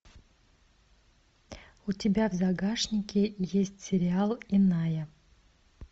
у тебя в загашнике есть сериал иная